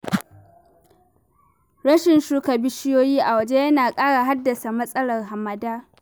Rashin shuka bishiyoyi a waje yana ƙara haddasa matsalar hamada.